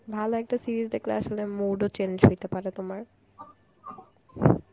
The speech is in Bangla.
ভালো একটা series দেখলে আসলে mood ও change হইতে পারে তোমার